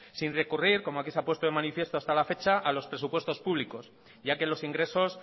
sin recurrir como aquí se ha puesta de manifiesto hasta la fecha a los presupuestos públicos ya que los ingresos